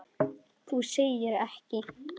Þú segir ekki!?!